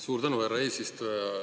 Suur tänu, härra eesistuja!